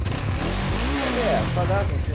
Falei, é a sua graça, senhor.